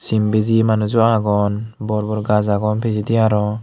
sim bijeye manuj o agon bor bor gaz agon pijedi araw.